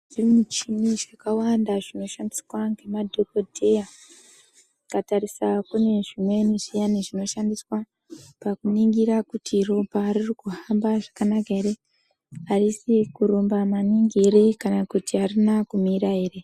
Zvimichini zvakawanda zvinoshandiswa ngemadhogodheya. Tikatarisa kune zvimweni zviyani zvinoshandiswa pakuningira kuti ropa ririkuhambe zvakanaka here, harisi kurumba maningi here kana kuti harina kumira here.